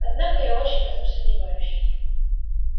однако я очень в этом сомневаюсь